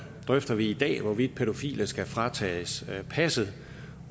drøfter vi i dag hvorvidt pædofile skal fratages passet